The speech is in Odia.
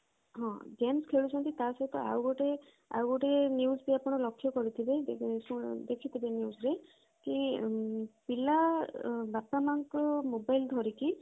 ହଁ games ଖେଳୁଛନ୍ତି ତା ସହିତ ଆଉ ଗୋଟେ ଆଉ ଗୋଟେ news ବି ଆପଣ ଲକ୍ଷ୍ୟ କରିଥିବେ ଯେ ଦେଖିଥିବେ news re କି ପିଲା ବାପା ମାଙ୍କ mobile ଧରିକି